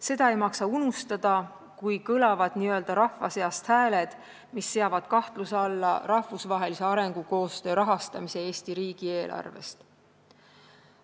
Seda ei maksa unustada, kui n-ö rahva seast kõlavad hääled, mis seavad kahtluse alla rahvusvahelise arengukoostöö rahastamise Eesti riigieelarvest.